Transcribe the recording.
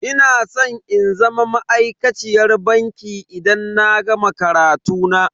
Ina san in zama ma'aikaciyar banki idan na gama karatu na.